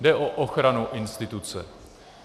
Jde o ochranu instituce.